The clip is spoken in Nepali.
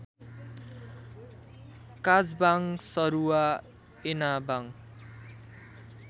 काजबाङ सरुवा एनाबाङ